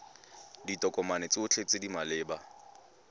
ditokomane tsotlhe tse di maleba